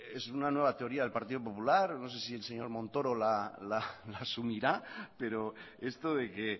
es una nueva teoría del partido popular no sé si el señor montoro la asumirá pero esto de que